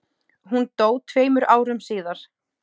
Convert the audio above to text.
Hún dó tveimur árum síðar.